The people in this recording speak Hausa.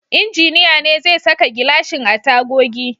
Injiniya ne zai saka gilashin a tagogi.